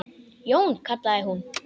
Jón, kallaði hún.